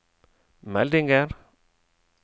meldinger